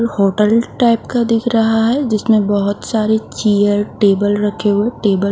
hotel type का दिख रहा है जिसमें बहुत सारी चेयर टेबल रखे हुए टेबल --